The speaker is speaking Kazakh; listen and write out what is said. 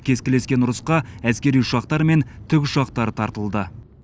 кескілескен ұрысқа әскери ұшақтар мен тікұшақтар тартылды